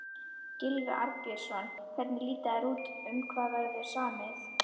Gylfi Arnbjörnsson, hvernig líta þær út, um hvað verður samið?